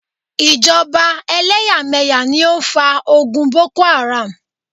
Ìjọba eléyàméyà ni ó fa ogun Boko Haram